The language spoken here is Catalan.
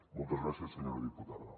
moltes gràcies senyora diputada